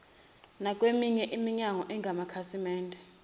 nakweminye iminyango engamakhasimende